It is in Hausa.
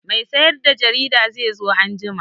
Mai sayar da jarida zai zo anjima.